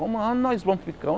Como aonde nós vamos ficar?